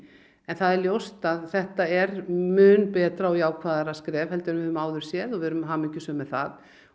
en það er ljóst að þetta er mun betra og jákvæðara skref en við höfum áður séð og við erum hamingjusöm með það